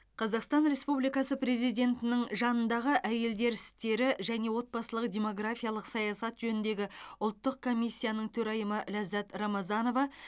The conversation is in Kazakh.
қазақстан республикасы президентінің жанындағы әйелдер істері және отбасылық демографиялық саясат жөніндегі ұлттық комиссияның төрайымы лаззат рамазанова